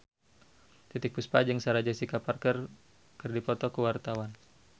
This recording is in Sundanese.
Titiek Puspa jeung Sarah Jessica Parker keur dipoto ku wartawan